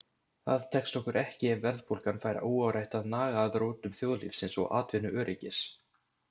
Það tekst okkur ekki ef verðbólgan fær óáreitt að naga að rótum þjóðlífsins og atvinnuöryggis.